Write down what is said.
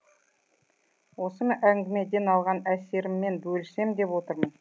осы әңгімеден алған әсеріммен бөліссем деп отырмын